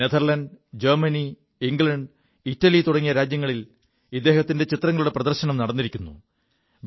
Netherlands Germany England Italy തുടങ്ങിയ രാജ്യങ്ങളിൽ ഇദ്ദേഹത്തിന്റെ ചിത്രങ്ങളുടെ പ്രദർശനം നടിരിക്കുു